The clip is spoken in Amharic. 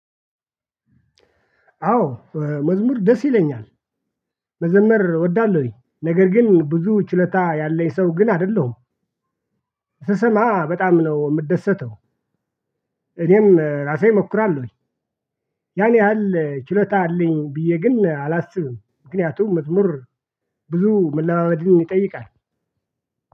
አዎ መዝሙር ደስ ይለኛል። መዘመር እወዳለሁኝ ነገር ግን ብዙ ችሎታ ያለኝ ሰው ግን አይደለሁም። ስሰማ በጣም ነው የምደሰተው። እኔም ራሴ እሞክራለሁ። ያን ያህል ችሎታ አለኝ ብዬ ግን አላስብም። ምክንያቱም መዝሙር ብዙ መለማመድን ይጠይቃል።